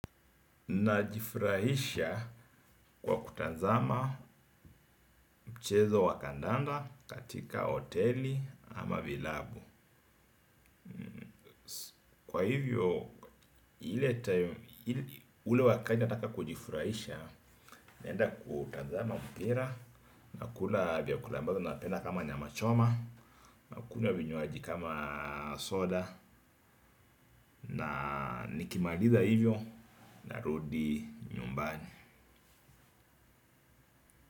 Najifurahisha kwa kutazama mchezo wa kandanda katika hoteli ama vilabu. Kwa hivyo ule wakati nataka kujifurahisha. Naenda kutazama mpira nakula vyakula mbavyo napenda kama nyama choma. Nakunywa vinywaji kama soda na nikimaliza hivyo narudi nyumbani.